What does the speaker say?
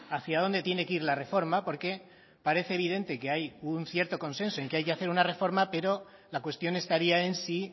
hacia dónde tiene que ir la reforma porque parece evidente que hay un cierto consenso en que hay que hacer una reforma pero la cuestión estaría en si